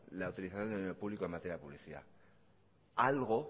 la utilización de dinero pública en materia de publicidad algo